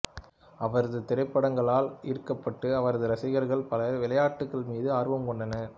அவரது திரைப்படங்களால் ஈர்க்கப்பட்டு அவரது ரசிகர்கள் பலர் விளையாட்டுகள் மீது ஆர்வம் கொண்டனர்